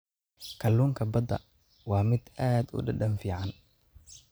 Kalluunka badda waa mid aad u dhadhan fiican leh.